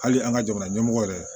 Hali an ka jamana ɲɛmɔgɔ yɛrɛ